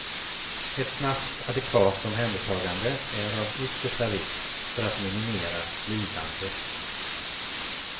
Ett snabbt adekvat omhändertagande är av yttersta vikt för att minimera lidandet.